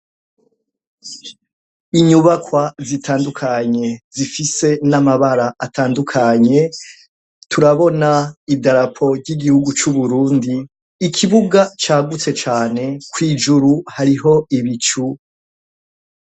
Inyubakwa zitandukanye zifise n'amabara atandukanye turabona idarapo ry'igihugu c'uburundi ikibuga cagutse cane ko 'ijuru hariho ibicu.